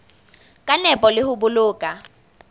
ka nepo le ho boloka